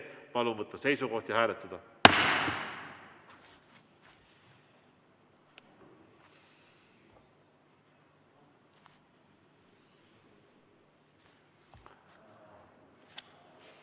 Palun võtta seisukoht ja hääletada!